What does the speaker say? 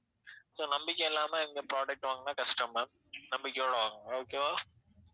so நம்பிக்கை இல்லாம எங்க product வாங்கினா கஷ்டம் ma'am நம்பிக்கையோட வாங்குங்க okay வா